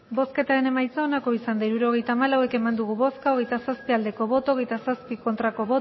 hirurogeita hamalau eman dugu bozka hogeita zazpi bai hogeita zazpi ez